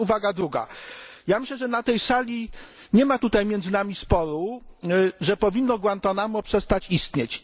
Teraz uwaga druga ja myślę, że na tej sali nie ma tutaj między nami sporu czy powinno Guantánamo przestać istnieć.